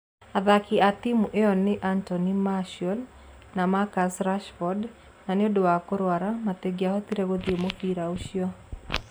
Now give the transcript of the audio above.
Athaki a timu ĩyo nĩ Anthony Martial na Marcus Rashford, na nĩ ũndũ wa kũrũara, matingĩhota gũthiĩ mũbira ũcio.